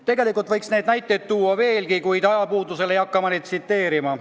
Tegelikult võiks neid näiteid tuua veel, kuid ajapuuduse tõttu ei hakka ma neid tsiteerima.